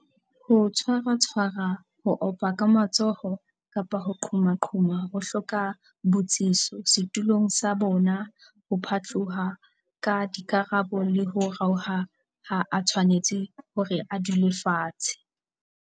Ho tshwaratshwara ho opaka matsoho kapa ho qhomaqhoma ho hloka botsitso. Setulong sa bona ho phatloha ka dikarabo le ho raoha ha a tshwanetse hore a dule fatshe.